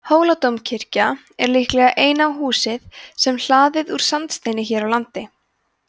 hóladómkirkja er líklega eina húsið sem hlaðið úr sandsteini hér á landi